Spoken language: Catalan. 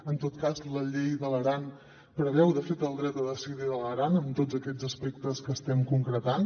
en tot cas la llei de l’aran preveu de fet el dret a decidir de l’aran en tots aquests aspectes que estem concretant